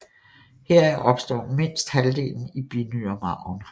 Heraf opstår mindst halvdelen i binyremarven